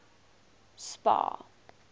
spar